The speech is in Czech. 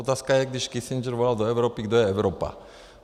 Otázka je, když Kissinger volal do Evropy, kdo je Evropa.